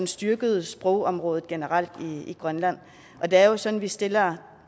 styrkede sprogområdet generelt i grønland og det er jo sådan at vi stiller